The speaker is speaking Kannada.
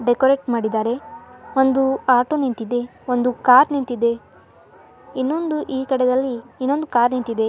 ಡೆಕೋರೇಟ್ ಮಾಡಿದ್ದಾರೆ ಒಂದು ಆಟೋ ನಿಂತಿದೆ ಒಂದು ಕಾರ್ ನಿಂತಿದೆ ಇನ್ನೊಂದು ಈ ಕಡೆದಲ್ಲಿ ಒಂದು ಕಾರ್ ನಿಂತಿದೆ.